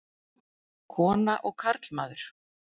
Kona og karlmaður.